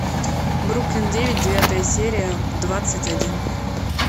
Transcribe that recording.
бруклин девять девятая серия двадцать один